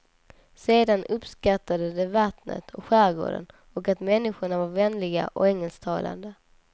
Sedan uppskattade de vattnet och skärgården och att människorna var vänliga och engelsktalande.